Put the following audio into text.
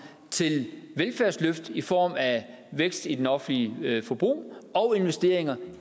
til velfærdsløft i form af vækst i det offentlige forbrug og investeringer